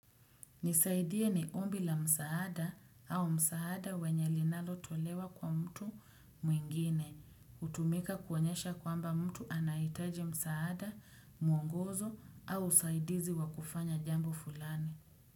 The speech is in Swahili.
Nisaidie ni ombi la msaada au msaada wenye linalotolewa kwa mtu mwingine, hutumika kuonyesha kwamba mtu anahitaje msaada, mwongozo au usaidizi wa kufanya jambo fulani.